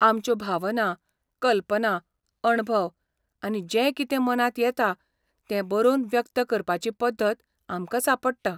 आमच्यो भावना, कल्पना, अणभव आनी जें कितें मनांत येता तें बरोवन व्यक्त करपाची पद्दत आमकां सांपडटा.